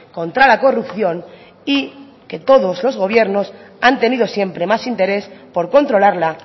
contra la corrupción y que todos los gobiernos han tenido siempre más interés por controlarla